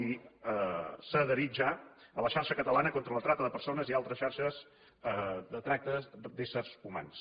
i s’ha adherit ja a la xarxa catalana contra la tracta de persones i altres xarxes de tràfic d’éssers humans